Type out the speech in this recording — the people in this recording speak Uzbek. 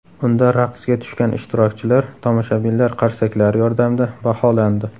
Unda raqsga tushgan ishtirokchilar tomoshabinlar qarsaklari yordamida baholandi.